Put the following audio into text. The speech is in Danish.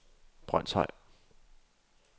Brønshøj